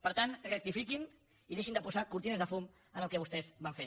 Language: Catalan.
per tant rectifiquin i deixin de posar cortines de fum en el que vostès van fer